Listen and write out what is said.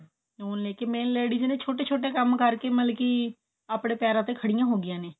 ਹੁਣ ਜਿਵੇਂ ladies ਨੇ ਛੋਟੇ ਛੋਟੇ ਕੰਮ ਕਰਕੇ ਮਲਕੀ ਆਪਣੇ ਪੈਰਾ ਤੇ ਖੜੀਆਂ ਹੋਗੀਆਂ ਨੇ